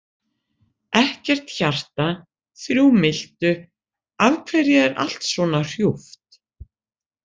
Ekkert hjarta, þrjú miltu, af hverju er allt svona hrjúft?